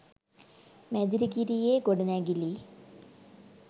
මැදිරිගිරියේ ගොඩනැගිලි